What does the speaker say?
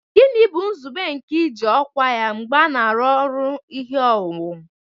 Gịnị bụ nzube nke iji ọkwa mgbe a na-arụ ọrụ ihe owuwu